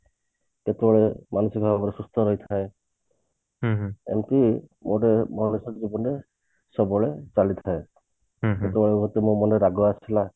କେତେବେଳେ ମାନସିକ ଭାବରେ ସୁସ୍ଥ ରହିଥାଏ ଏମତି ସବୁବେଳେ ଚାଲିଥାଏ କେତେବେଳେ ଯଦି ମୋ ମନରେ ରାଗ ଆସିଲା